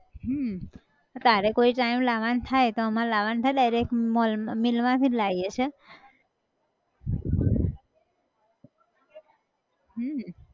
હમ તારે કોઈ time લાવા ન થાય તો અમાર લાવાન થાય direct mall અમ mill માં થી જ લાયીએ છે હમ